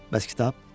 Bəs kitab?